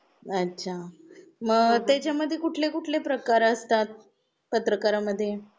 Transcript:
अच्छा! मग त्याच्या मध्ये कुठले कुठले प्रकार असतात, पत्रकारामध्ये?